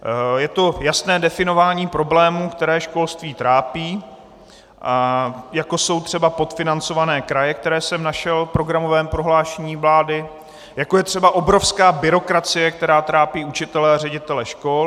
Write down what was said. Je to jasné definování problému, které školství trápí, jako jsou třeba podfinancované kraje, které jsem našel v programovém prohlášení vlády, jako je třeba obrovská byrokracie, která trápí učitele a ředitele škol.